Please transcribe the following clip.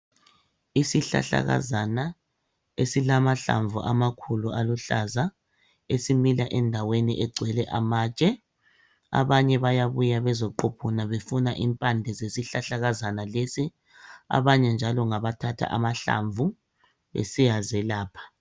Isihlahlakazana esilamahlamvu amakhulu aluhlaza esimila endaweni egcwele amatshe. Abanye bayabuya bezoquphuna befuna impande zesihlahlakazana lesi ,abanye njalo ngabathatha amahlamvu besiyazelapha.